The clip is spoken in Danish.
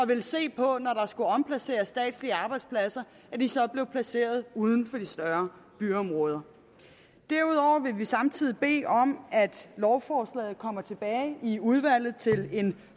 vil se på når statslige arbejdspladser skal at disse så bliver placeret uden for de større byområder derudover vil vi samtidig bede om at lovforslaget kommer tilbage i udvalget til en